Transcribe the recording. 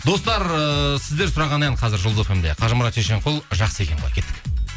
достар ыыы сіздер сұраған ән қазір жұлдыз фм де қажымұрат шешенқұл жақсы екен ғой кеттік